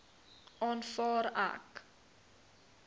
aanvaar ek